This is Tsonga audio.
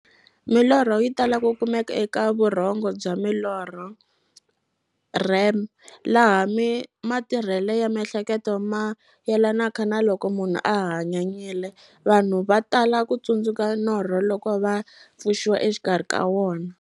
Milorho yi tala ku kumeka eka vurhongo bya milorho, REM, laha matirhele ya miehleketo mayelanaka na loko munhu a hanyanyile. Vanhu va tala ku tsundzuka norho loko va pfuxiwa exikarhi ka wona.